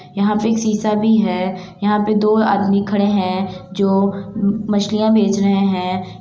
यहाँ पे एक शीशा भी है| यहाँ पे दो आदमी खड़े हैं जो मछलियां बेच रहे हैं ।